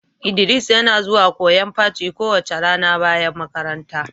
Idris yana zuwan koyon paci kowace rana bayan makaranta.